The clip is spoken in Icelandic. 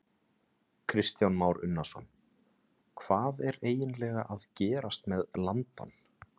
Kristján Már Unnarsson: Hvað er eiginlega að gerast með landann?